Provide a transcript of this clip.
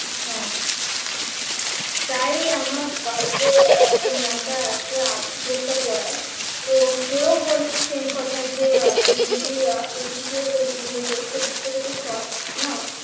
হ্যাঁ তাই আমার বাড়িতে আহ যে maam টা আসে arts group টা পড়ায় তো সে ও বলছে same কথা যে আহ তুমি যদি আহ এর ওই তুমি test paper টা যদি solve নাও